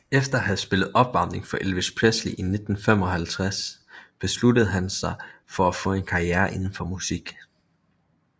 Efter at have spillet opvarmning for Elvis Presley i 1955 besluttede han sig for at få en karriere indenfor musik